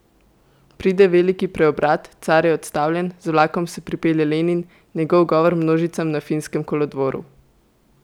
Pride veliki preobrat, car je odstavljen, z vlakom se pripelje Lenin, njegov govor množicam na Finskem kolodvoru.